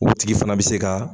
U tigi fana bɛ se ka.